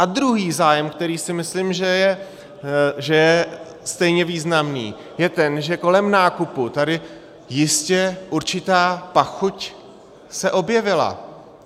A druhý zájem, který si myslím, že je stejně významný, je ten, že kolem nákupu tady jistě určitá pachuť se objevila.